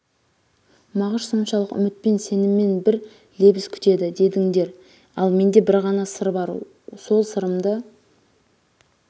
мағыш соншалық үмітпен сеніммең бір лебіз күтеді дедіңдер ал менде бір ғана сыр бар сол сы-рымды